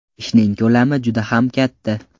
Ishning ko‘lami juda ham katta.